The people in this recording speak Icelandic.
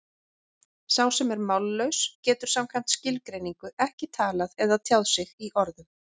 Sá sem er mállaus getur samkvæmt skilgreiningu ekki talað eða tjáð sig í orðum.